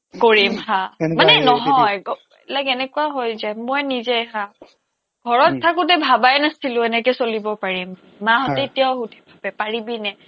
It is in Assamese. কৰিম হা মানে নহয় like এনেকুৱা হৈ যায় মই নিজে হা ঘৰত থাকোতে ভবাই নাছিলো এনেকে চলিব পাৰিম মাহঁতে এতিয়াও সোধে পাৰিবিনে